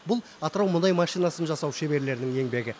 бұл атырау мұнай машинасын жасау шеберлерінің еңбегі